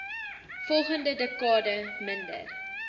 volgende dekade minder